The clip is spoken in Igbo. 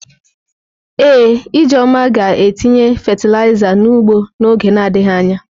Ee, Ijeoma ga-etinye fatịlaịza n’ugbo n'oge na adịghị anya.